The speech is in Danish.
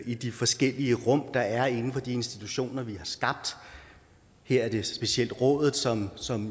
i de forskellige rum der er inden for de institutioner vi har skabt her er det specielt rådet som som